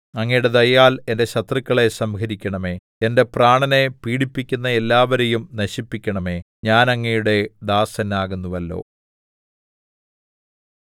അങ്ങയുടെ ദയയാൽ എന്റെ ശത്രുക്കളെ സംഹരിക്കണമേ എന്റെ പ്രാണനെ പീഡിപ്പിക്കുന്ന എല്ലാവരെയും നശിപ്പിക്കണമേ ഞാൻ അങ്ങയുടെ ദാസൻ ആകുന്നുവല്ലോ